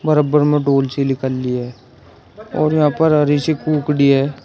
बरबर में डोल सी लिकली है और यहां पर हरी सी कुकड़ी है।